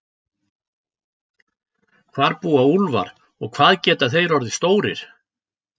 Hvar búa úlfar og hvað geta þeir orðið stórir?